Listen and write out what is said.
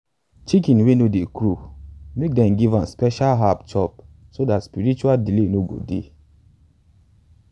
chicken wey no dey crow make them give am special herbs chop so dat spiritual delay no go dey.